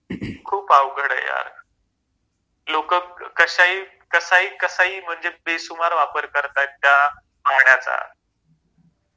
Coughingखूप अवघड आहे यार लोक कश्या ही कसा ही कसा ही म्हणजे बेसुमार वापर करताएत त्या पाण्याचा